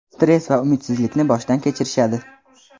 stress va umidsizlikni boshdan kechirishadi.